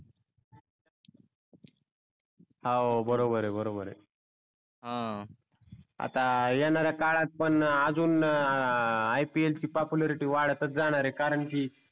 हव बरोबर आहे बरोबर आहे अं आता येणाऱ्या काळात पण अजून IPL ची popularity वाटतच जाणार आहे. कारण की